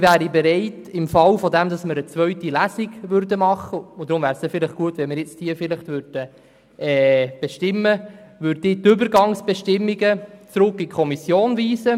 Ich wäre bereit, im Fall, dass eine zweite Lesung stattfindet – deswegen wäre es gut, wenn wir diese bestimmen würden –, die Übergangsbestimmungen in die Kommission zurückzuweisen.